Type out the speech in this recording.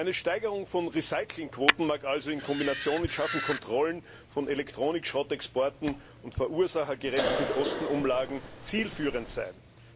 Eine Steigerung von Recyclingquoten mag also in Kombination mit scharfen Kontrollen von Elektronikschrottexporten und verursachergerechten Kostenumlagen zielführend sein.